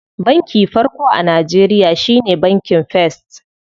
Banki farko a Najeriya shine bankin first.